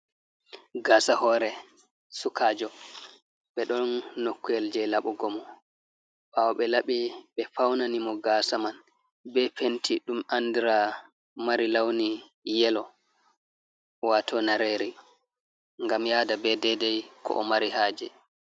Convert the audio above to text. Gasa hore sukajo ɓe ɗon nokku’el je laɓugo mo, ɓawo ɓe laɓi ɓe faunani mo gasa man ɓe penti ɗum andira mari launi yelo, wato nareri gam yada be dedei ko o mari haje.